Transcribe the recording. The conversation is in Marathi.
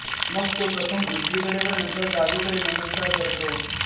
मग तो प्रथम उजवीकडे व नंतर डावीकडे नमस्कार करतो